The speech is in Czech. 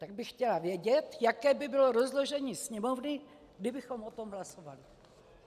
Tak bych chtěla vědět, jaké by bylo rozložení Sněmovny, kdybychom o tom hlasovali.